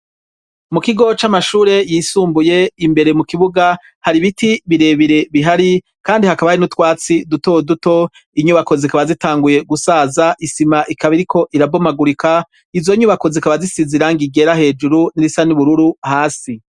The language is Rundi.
Mu kigo c'amashure yisumbuye imbere mu kibuga hari biti birebere bihari kandi hakaba hari n'utwatsi dutoduto inyubako zikaba zitanguye gusaza isima ikaba iriko irabomagurika izo nyubako zikaba zisize irangi ryera hejuru n'irisa n'ubururu hasi.